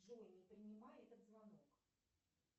джой не принимай этот звонок